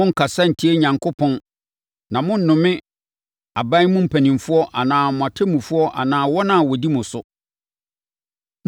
“Monnkasa ntia Onyankopɔn na monnome aban mu mpanimfoɔ anaa mo atemmufoɔ anaa wɔn a wɔdi mo so.